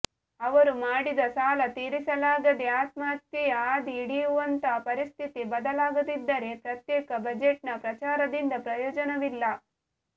ಅವರು ಮಾಡಿದ ಸಾಲ ತೀರಿಸಲಾಗದೆ ಆತ್ಮಹತ್ಯೆಯ ಹಾದಿ ಹಿಡಿಯುವಂಥ ಪರಿಸ್ಥಿತಿ ಬದಲಾಗದಿದ್ದರೆ ಪ್ರತ್ಯೇಕ ಬಜೆಟ್ನ ಪ್ರಚಾರದಿಂದ ಪ್ರಯೋಜನವಿಲ್ಲ